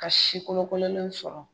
Ka si kolokololenw sɔrɔ